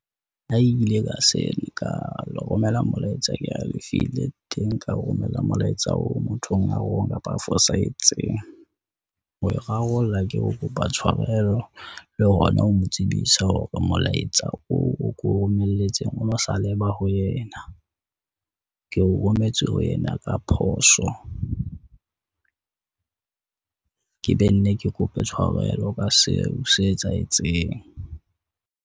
Ho ile ka se ka le romela molaetsa ke halefile teng ka romella molaetsa o mothong a wrong kapa a fosahetseng. Ho e rarolla ke ho kopa tshwarelo le hona ho mo tsebisa hore molaetsa oo ko romelletseng o no sa leba ho yena, ke o rometse ho yena ka phoso. Ke be nne ke kope tshwarelo ka seo se etsahetseng.